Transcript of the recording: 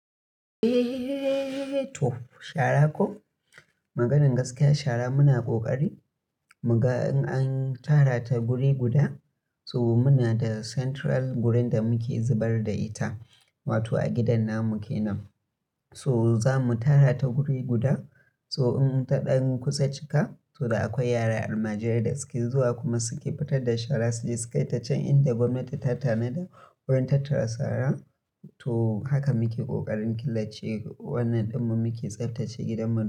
Eh, to shara ko. Maganan gaskiya shara muna kokari. Muga in an tara ta wuri guda, so muna da central wurin da muke zubar da ita, wato a gidan nan muke nan. So zamu tara ta wuri guda, so in ta ɗan kusa cika, to da akwai yara almajirai da suke zuwa kuma suke fitar da shara su ji sukai ta can inda gwamnati ta tanada wurin tattara sara. To haka muke kokarin killace wannan ɗin mu muke tsaftace gidanmu.